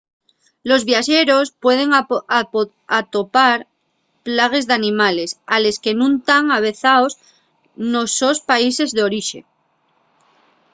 los viaxeros pueden atopar plagues d’animales a les que nun tán avezaos nos sos países d’orixe